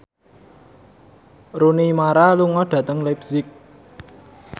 Rooney Mara lunga dhateng leipzig